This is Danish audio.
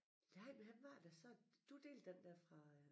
Nej hvem var det der sad du delte den der fra øh